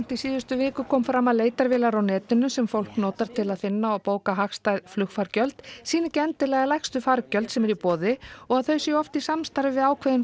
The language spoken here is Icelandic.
í síðustu viku kom fram að leitarvélar á netinu sem fólk notar til að finna og bóka hagstæð flugfargjöld sýna ekki endilega lægstu fargjöld sem eru í boði og að þau séu oft í samstarfi við ákveðin